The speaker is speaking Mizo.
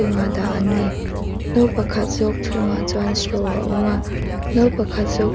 dah an ni no pakhat zawk chhungah chuan straw a awm a no pakhat zawk--